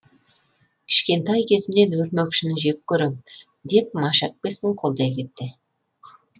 кішкентай кезімнен өрмекшіні жек көремін деп маша әпкесін қолдай кетті